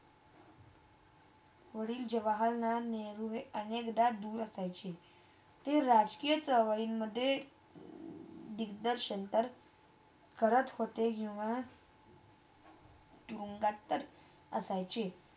वाडिल जवाहरलाल नहरू हे अनेकदा दूर असायचे. ते राजकिया चळवळीत करत होते किवा डोंगातच असायचे